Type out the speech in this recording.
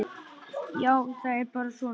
Já, það er bara svona.